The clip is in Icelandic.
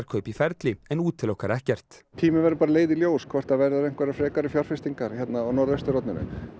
í ferli en útilokar ekkert tíminn verður bara að leiða í ljós hvort það verða einhverjar frekari fjárfestingar hérna á Norðausturhorninu